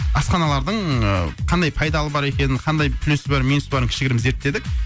асханалардың ыыы қандай пайдалы бар екенін қандай плюсі бар минусы барын кішігірім зерттедік